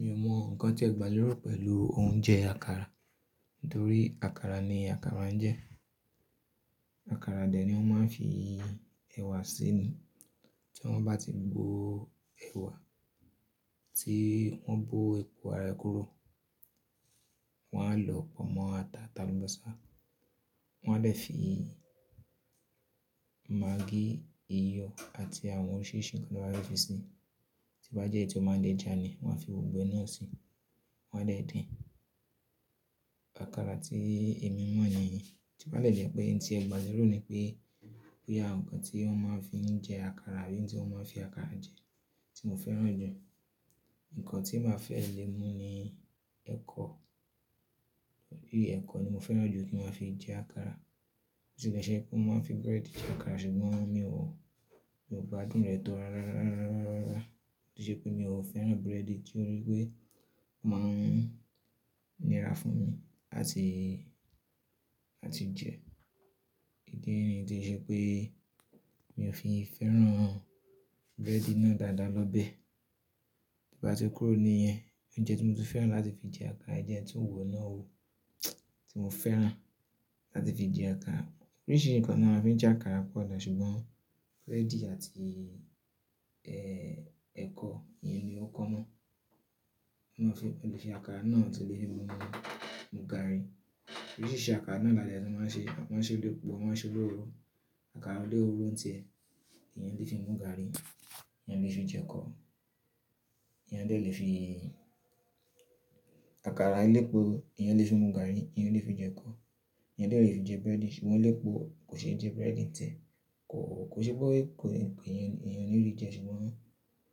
Mi ò mọ ǹkan tí ẹ gbà lórú pẹ̀lú oúnjẹ àkàrà, nítorí àkàrà ni àkàrà ń jẹ́. Àkàrà dẹ̀ ni wọ́n máa ń fi ẹ̀wà síni. Tí wọ́n bá ti bo ẹ̀wà, tí wọ́n bó epo ara kúrò, wọ́n á lọ pọ̀ mọ́ ata, ata lọ́mọ sá, wọ́n á dẹ̀ fi magí, iyọ̀ àti àwọn oríṣìírí ìṣìnkan ló bá fi sí i. Tí bá jẹ́ èyí tí ó máa ń le jà ni wọ́n á fi wògbẹ́ náà sí i, wọ́n á dẹ̀ din. Àkàrà tí èmi mọ̀ nìyí. Tí ó bá dẹ̀ jẹ́ pé ohun tí ẹ gbà lórú ni pé, pé ya ǹkan tí wọ́n máa ń fi jẹ àkàrà àbí ohun tí wọ́n máa ń fi àkàrà jẹ tí mo fẹ́ràn jù. Ǹkan tí màá fẹ́ lè mú ni ẹkọ. Ẹkọ ni mo fẹ́ràn jù kí wọ́n fi jẹ àkàrà. Ó tì le ṣe pé mọ́ máa ń fi bread jẹ àkàrà sùgbọ́n mi ò, mi ò gbádùn rẹ̀ tó ara, ara, ara, ara, ara, ara. Ó ṣe pé mi ò fẹ́ràn bread torí pé wọ́n máa ń nira fún mi láti, láti jẹ. Ìdí nìyí tí ó ṣe pé mi ò fi fẹ́ràn bread náà dáadáa lọ́bẹ̀. Tí o bá ti kúrò ní hẹn, ó jẹ́ tí mo ti fẹ́ràn láti fi jẹ àkàrà, ó jẹ́ ẹni tí n wò náà ó tí mo fẹ́ràn láti fi jẹ àkàrà. Oríṣìírí ǹkan ni a fi ń jẹ àkàrà pọ̀ dà, ṣùgbọ́n bread àti ẹkọ, ìyẹn ni ó common. Wọ́n lè fi àkàrà náà tó lè fi mu gaàrí. Oríṣìíríṣìí àkàrà náà làálẹ́ tí wọ́n máa ń ṣe. Wọ́n ṣe lépo, wọ́n ṣe lóroro Àkàrà olororo ń tẹ, èyán lè fi mú gaàrí, èyán lè fi jẹ ẹkọ, èyán dẹ̀ lè fi-- àkàrà elépo, èyán lè fi mú gaàrí, èyán lè fi jẹ ẹkọ, èyán dẹ̀ lè fi jẹ bread ṣùgbọ́n elépo kò ṣe jẹ bread ń tẹ. Kò, kò ṣe pé kò le, èyí, èyàn ò ní lè jẹ ẹ ṣùgbọ́n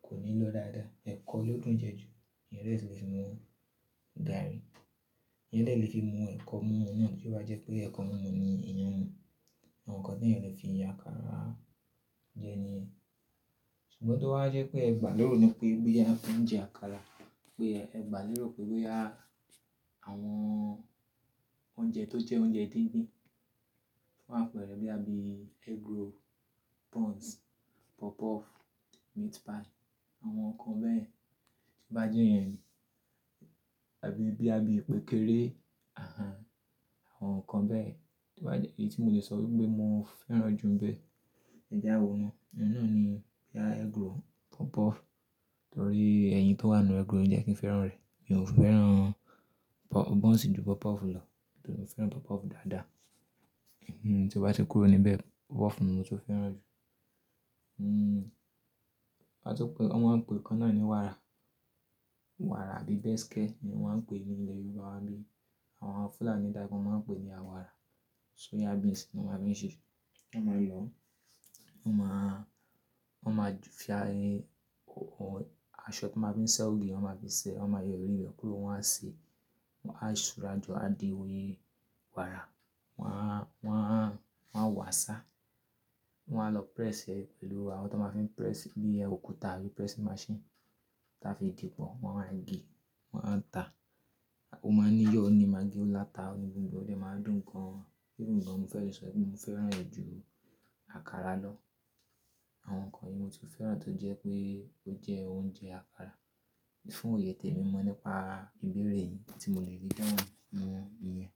kò ní lọ dáadáa. Ẹ̀kọ ló dùn jẹ ju, èyán dẹ̀ lè fi mú gaàrí, èyán dẹ̀ lè fi mú ẹ̀kọ mú na tio bá jẹ́ pé ẹ̀kọ mi mu ni eyàn. Àwọn nǹkan tẹ́ẹ̀ lè fi jẹ àkàrà jẹ ni ẹ. Ṣùgbọ́n tó bá jẹ́ pé ẹ gbà lóro pé, pé boya won fi je àkàrà, pé ẹ gbà lóro pé, pé boya àwọn oúnjẹ tó jẹ́ oúnjẹ dídín fun ápẹ̀rẹ́ boya bi, egg roll, buns, puff puff, meat pie àwọn nǹkan bẹ́ẹ̀. Tí bá jẹ́ iyeẹ̀ni, àbí bí boya, ìpẹ́kẹ́rẹ́, àhàn, àwọn nǹkan bẹ́ẹ̀. Tí o bá jẹ́ èyí tí mo lè sọ wípé mo fẹ́ràn jù n bẹ́ẹ̀, ẹ jáwo na. Ìyẹn náà ni, boya egg roll, puff puff torí ẹyin tó wà nínú egg roll jẹ́ kí n fẹ́ràn rẹ̀. Mi ò fẹ́ràn buns ju puff puff lọ torí mo fẹ́ràn puff puff dáadáa. Hmm, tí wọ́n bá ti kúrò níbẹ̀, puff puff ni mo ti fẹ́ràn jù. Hmm, bá tí pé wọ́n máa ń pe kannáà ní wàrà. Wàrà àbí bẹ́síkẹ́ ni wọ́n ń pè é ní ilẹ̀ Yorùbá wa bi awon Fúlàní dà bi máa ń pè é ní àwàrà. Soya beans ni wọ́n máa ń fi ṣẹ́, wọ́n máa lò ó. Wọ́n máa, wọ́n máa fi aṣọ tí wọ́n máa ń fi sẹ́ ògì wọ́n máa fi sèé. Wọ́n máa yọ̀ seri be kúrò wọ́n á sèé. Wọ́n á sùúra jọ, á di wàrà. Wọ́n á, wọ́n á, wọ́n á wàsá, wọ́n á lọ press rẹ̀ pẹ̀lú àwọn tó máa ń fi press bí òkúta àbí press machine tí wọ́n fi dìpọ̀. Wọ́n á gẹ́, wọ́n á ta. O máa níyọ́ ó ní magí ó láta, gbógbò e ó dẹ̀ máa dùn gan. Even gan mo fẹ́ lè sọ wípé mo fẹ́ràn rẹ̀ ju àkàrà lọ. Àwọn nǹkan yìí mo tun fẹ́ràn tó jẹ́ pé ó jẹ́ oúnjẹ àkàrà. Fún òye tẹ̀ mi mọ̀ nípa ìbéèrè yìí tí mo lè rí lọ́wọ́ ni iyẹn.